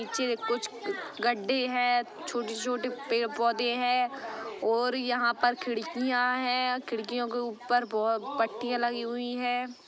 --नीचे कुछ गड्ढे हैं छोटी-छोटी पेड़ पौधे है और यहां पर खिड़कियां है खिड़कियो के ऊपर बहुत पट्टियां लगी हुई है।